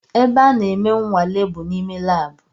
Ebe a na-eme nwale bụ n’ime labu